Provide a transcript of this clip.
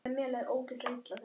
Spurði Bibba hvað það væri.